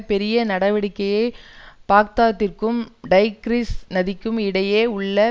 பெரிய நடவடிக்கையை பாக்தாதிற்கும் டைக்ரிஸ் நதிக்கும் இடையே உள்ள